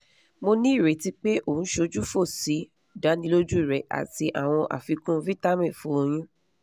mo ní ireti pé o ń ṣojúfọ́ sí ìdánilójú rẹ àti àwọn afikun vitamin fún oyún